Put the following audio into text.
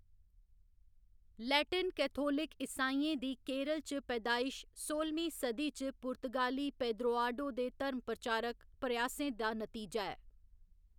Latin Catholic ईसाइयें दी केरल च पैदायश सोह्‌लमीं सदी च पुर्तगाली पेदरोआडो दे धर्म प्रचारक प्रयासें दा नतीजा ऐ।